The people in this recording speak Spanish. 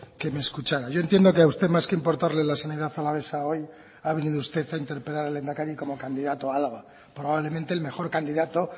que me escuchara yo entiendo que a usted más que importarle la sanidad alavesa hoy ha venido usted a interpelar al lehendakari como candidato a álava probablemente el mejor candidato